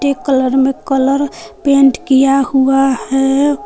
एक कलर में colour paint किया हुआ है।